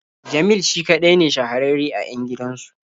Jamil shi kaɗai ne shahararre a 'yan gidansu.